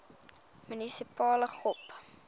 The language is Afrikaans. munisipale gop